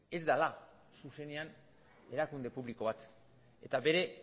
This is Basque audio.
ez dela zuzenean erakunde publiko bat eta bere